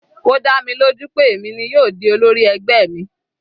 Ó dá mi lójú pé èmi ni yóò di olórí ẹgbẹ́ mi.